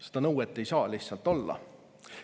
Seda nõuet ei saa lihtsalt olla.